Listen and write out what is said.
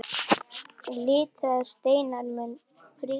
Litaðir steinar munu prýða torgið.